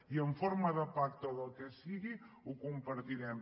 i en forma de pacte o del que sigui ho compartirem